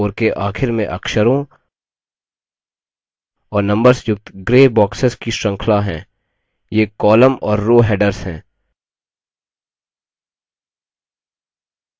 columns के top में और rows के बाईं ओर के आखिर में अक्षरों और numbers युक्त gray boxes की श्रृंखला हैं ये columns और rows headers हैं